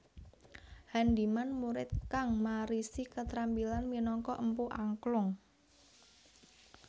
Handiman murid kang marisi ketrampilan minangka empu angklung